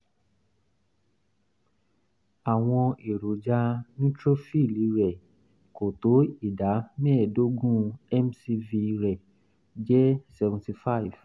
àwọn èròjà neutrophil rẹ̀ kò tó ìdá mẹ́ẹ̀ẹ́dógún mcv rẹ̀ jẹ́ 75